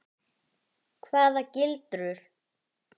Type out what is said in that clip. Hvaða gildru?